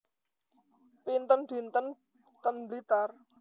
Pinten dinten ten Blitar